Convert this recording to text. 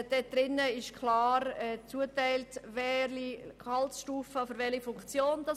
Darin ist klar zugeteilt, welche Gehaltsklasse welcher Funktion entspricht.